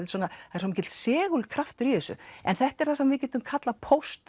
er svo mikill segulkraftur í þessu en þetta er það sem við getum kallað